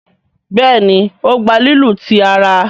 Béèni o gbà lílu tí àrà.